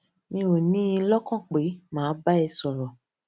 mi ò ní in lókàn pé màá bá ẹ sòrò